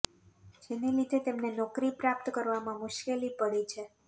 જેને લીધે તેમને નોકરી પ્રાપ્ત કરવામાં મુશ્કેલી પડે છે